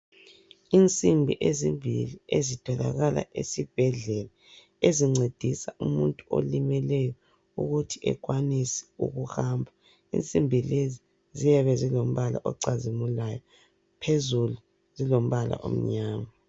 Insimbi ezimbili ezitholakala esibhedlela ezincedisa umuntu olimeleyo ukuthi ekwanise ukuhamba , insimbi lezi ziyabe zilombala ocazimulayo phezulu zilombala omnyama.